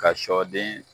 Ka sɔden